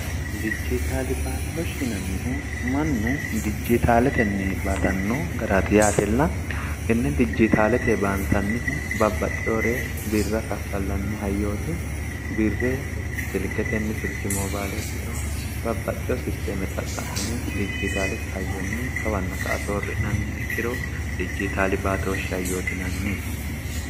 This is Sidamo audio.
dijjitaali baatoosh hinannihu mannu dijjitaaletenni baatanno garaati yaatilla inni dijjitaalete baantannihu babbaxxioore birra kaffallanni hayyooti birre silketenni silkimoo baaleekkito babbaxxio sisteeme xaqqa'mine dijjitaalete hayyoonni kawanna ka a soorri'nanniha ikkiro dijjitaali baatoohshi hayootinanni